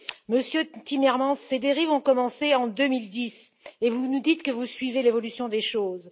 Monsieur Timmermans, ces dérives ont commencé en 2010 et vous nous dites que vous suivez l'évolution des choses.